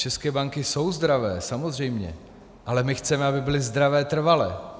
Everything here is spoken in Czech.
České banky jsou zdravé, samozřejmě, ale my chceme, aby byly zdravé trvale.